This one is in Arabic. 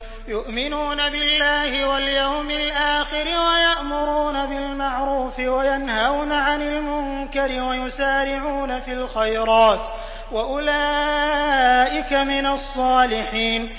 يُؤْمِنُونَ بِاللَّهِ وَالْيَوْمِ الْآخِرِ وَيَأْمُرُونَ بِالْمَعْرُوفِ وَيَنْهَوْنَ عَنِ الْمُنكَرِ وَيُسَارِعُونَ فِي الْخَيْرَاتِ وَأُولَٰئِكَ مِنَ الصَّالِحِينَ